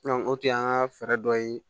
o tun y'an ka fɛɛrɛ dɔ ye